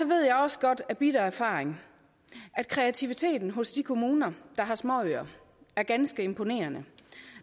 ved jeg også godt af bitter erfaring at kreativiteten hos de kommuner der har småøer er ganske imponerende